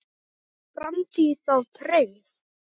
Er framtíð þá trygg?